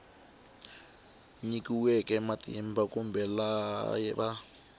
nyikiweke matimba kumbe laha va